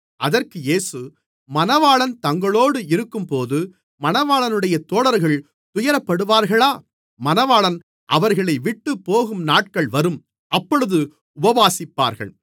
அதற்கு இயேசு மணவாளன் தங்களோடு இருக்கும்போது மணவாளனுடைய தோழர்கள் துயரப்படுவார்களா மணவாளன் அவர்களைவிட்டுப் போகும் நாட்கள் வரும் அப்பொழுது உபவாசிப்பார்கள்